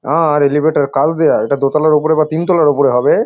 আ রে এলিভেটর কাজ দেয়া এটা দোতলা ওপরে বা তিন তলার ওপরে হবে।